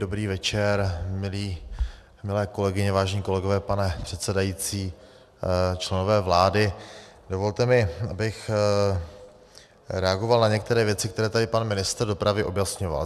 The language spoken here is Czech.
Dobrý večer milé kolegyně, vážení kolegové, pane předsedající, členové vlády, dovolte mi, abych reagoval na některé věci, které tady pan ministr dopravy objasňoval.